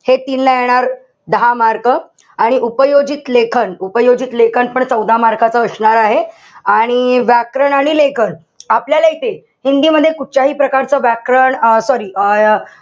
हे तीन ला येणार, दहा mark. आणि उपयोजित लेखन, उपयोजित लेखन पण चौदा mark च असणार आहे. आणि व्याकरण आणि लेखन आपल्याला इथे हिंदी मध्ये कुठच्याही प्रकारचं व्याकरण अं sorry अं